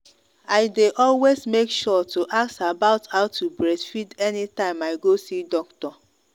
i day always make sure to ask about how to breastfeed anytime i go see doctor